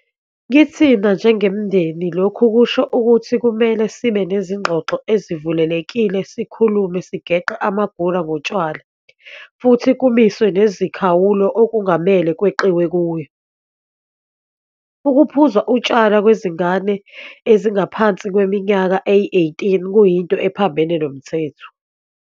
Kithina njengemindeni lokhu kusho ukuthi kumele sibe nezingxoxo ezivulelekile sikhulume sigeqe amagula ngotshwala futhi kumiswe nemikhawulo okungamele kweqiwe kuyo. Ukuphuza utshwala kwezingane ezingaphansi kweminyaka eyi-18 kuyinto ephambene nomthetho.